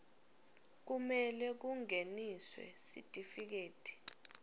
kumele kungeniswe sitifiketi